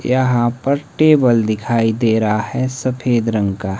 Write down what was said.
यहां पर टेबल दिखाई दे रहा है सफेद रंग का--